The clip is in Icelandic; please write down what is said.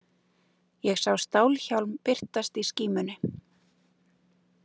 Ég sá stálhjálm birtast í skímunni.